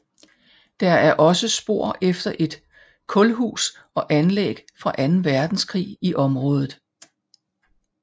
Der er også spor efter et kulhus og anlæg fra anden verdenskrig i området